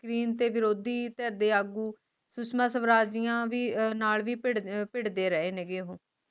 screen ਤੇ ਵਿਰੋਧੀ ਧਿਰ ਦੇ ਆਗੂ ਸੁਸ਼ਮਾ ਸਵਰਾਜ ਦੀਆਂ ਨਾਲ ਵੀ ਭਿੜ ਅਹ ਭਿੜਦੇ ਰਹੇ ਨੇ ਗੇ ਓਹੋ